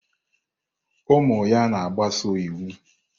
Ụmụ ya na-agbaso iwu.